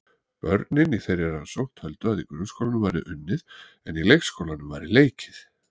Börnin í þeirri rannsókn töldu að í grunnskólanum væri unnið en í leikskólanum væri leikið.